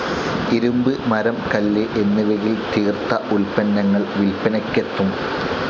ഇരുമ്പ്, മരം, കല്ല് എന്നിവയിൽ തീർത്ത ഉത്പന്നങ്ങൾ വിൽപ്പനയ്ക്കെത്തും.